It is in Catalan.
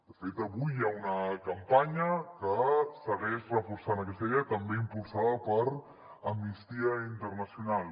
de fet avui hi ha una campanya que segueix reforçant aquesta idea també impulsada per amnistia internacional